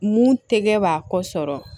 Mun tɛ kɛ b'a kɔ sɔrɔ